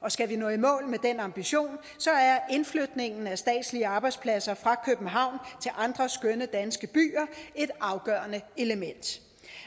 og skal vi nå i mål med den ambition er flytningen af statslige arbejdspladser fra københavn til andre skønne danske byer et afgørende element